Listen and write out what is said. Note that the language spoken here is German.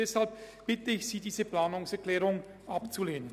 Deshalb bitte ich Sie, diese Planungserklärung abzulehnen.